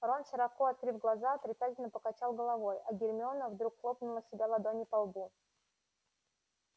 рон широко открыв глаза отрицательно покачал головой а гермиона вдруг хлопнула себя ладонью по лбу